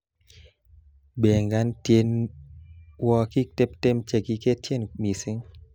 Bangan tiewokik tuptem chekikiketin mising'